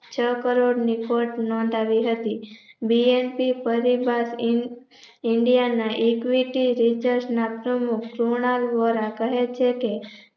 છ કરોડની ખોટ નોંધાવી હતી BNT ફરી બાદ ઇન્ડિયા ના Equity Research ના પ્રમુખ કુણાલ વોરા કહે છે કે